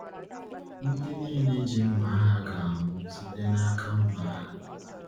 “Ndị niile ji mma agha ga-anwụ site n’aka mma agha.”